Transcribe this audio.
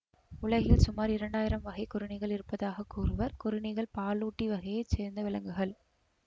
உலகில் சுமார் இரண்டாயிரம் வகை கொறிணிகள் இருப்பதாக கூறுவர் கொறிணிகள் பாலூட்டி வகையை சேர்ந்த விலங்குகள்